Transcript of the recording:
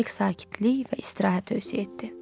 Mütləq sakitlik və istirahət tövsiyə etdi.